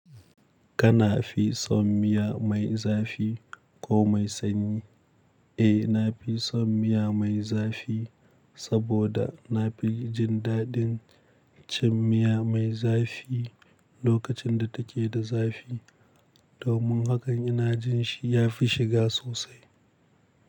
Kana fi son miya mai zafi ko mai sanyi? Eh, na fi son miya mai zafi saboda na fi jin daɗin cin miya mai zafi lokacin da take da zafi, domin hakan ina jin shi ya fi shiga sosai.